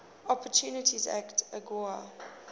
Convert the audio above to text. opportunity act agoa